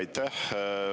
Aitäh!